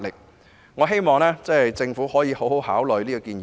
因此，我期望政府能認真考慮這個建議。